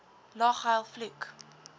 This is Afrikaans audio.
lag huil vloek